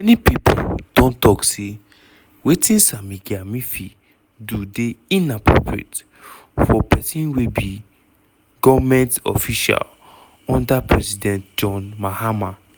many pipo don tok say wetin sammy gyamfi do dey "inappropriate" for pesin wey be goment official under president john mahama